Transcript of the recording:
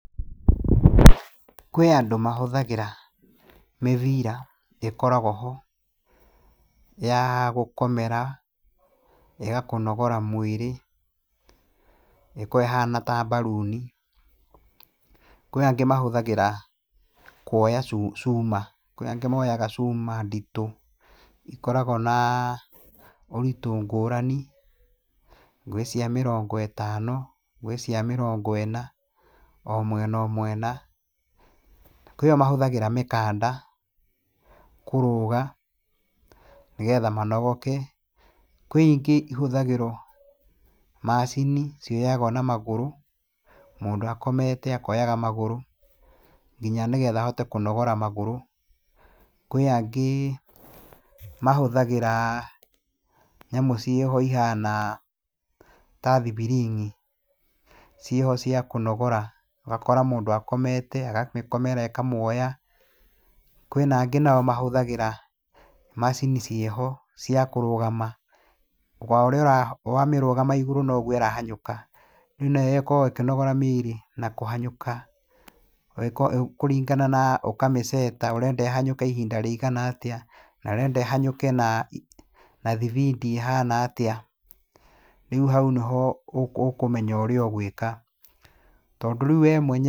Kwĩ andũ mahũthagĩra mĩbira, ĩkoragwo ho, ya gũkomera ĩgakũnogora mwĩrĩ, ĩkoragwo ĩhaana ta mbaruuni, kwĩ angĩ mahũthagĩra kuoya cuuma, kwĩ angĩ mooyaga cuuma nditũ ,ikorago na ũritũ ngũrani, gwĩ cia mĩrongo ĩtano, gwĩ cia mĩrongo ĩna, o mwena o mwena, kwĩ mahũthagĩra mĩkanda kũrũũga, nĩgetha manogoke kwĩ ingĩ ihũthagĩrwo macini cioyagwo na magũrũ, mũndũ akomete akoyaga magũrũ, nginya nĩgetha ahote kũnogora magũrũ, kwĩ angĩ mahũthagĩra nyamũ ciĩho ihana ta thibiring’i, ciho cia kũnogora wakora mũndũ akomete akamĩkomera ĩkamwoya, kwĩnangĩ nao mahũthagĩra macini ciĩho cia kũrũgama owamĩrũgama igũrũ noguo ĩrahanyũka rĩu nayo ĩkoo ĩkĩnogora mĩĩrĩ na kũhanyũka, kũringana na ũkamĩceta ũrenda ĩhanyũke ihinda rĩigana atĩa ,ũrenda ĩhanyũke na thibindi ĩhaana atĩa, rĩu hau nĩho ũkũmenya ũrĩa ũgũĩka tondũ rĩu we mwenyewe...